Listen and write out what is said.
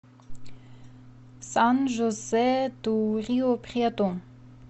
сан жозе ду риу прету